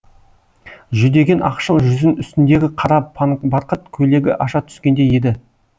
жүдеген ақшыл жүзін үстіндегі қара панбарқыт көйлегі аша түскендей еді